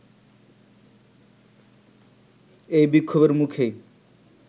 এই বিক্ষোভের মুখেই